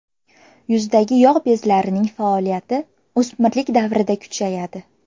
Yuzdagi yog‘ bezlarining faoliyati o‘smirlik davrida kuchayadi.